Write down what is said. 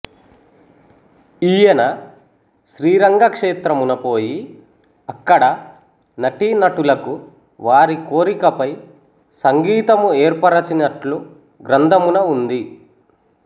ఈయన శ్రీరంగ క్షేత్రమున పోయి అక్కడ నటీనటులకు వారికోరికపై సంగీతము ఏర్పరచినట్లు గ్రంథమున ఉంది